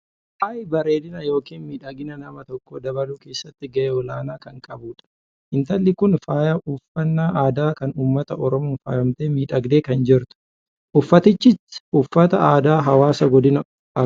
Faayi bareedina yookaan miidhagina nama tokkoo dabaluu keessatti gahee olaanaa kan qabudha. Intalli Kun faaya uffannaa aadaa kan uummata Oromoon faayamtee miidhagdee tu kan jirtu. Uffatichis uffata aadaa hawaasa godina arsiitti.